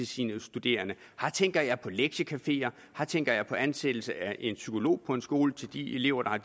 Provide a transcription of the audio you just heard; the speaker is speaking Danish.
sine studerende her tænker jeg på lektiecafeer her tænker jeg på ansættelse af en psykolog på en skole til de elever der har